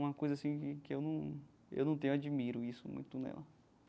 Uma coisa, assim, que que eu num... eu não tenho, eu admiro isso muito nela.